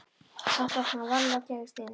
Samt opnaði hann varlega og gægðist inn.